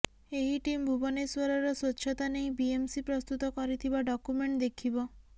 ଏହି ଟିମ୍ ଭୁବନେଶ୍ୱରରର ସ୍ୱଚ୍ଛତା ନେଇ ବିଏମ୍ସି ପ୍ରସ୍ତୁତ କରିଥିବା ଡକୁମେଣ୍ଟ ଦେଖିବ